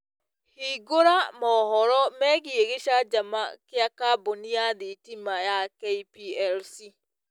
hĩngũra mohoro meegĩe gicanjama gia kambuni ya thĩtĩma ya K.P.L.C